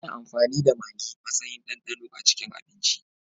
Ana amfani da Magi matsayin dandano a cikin abinci.